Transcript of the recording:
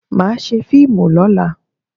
Màá ṣe fíìmù lọ́la.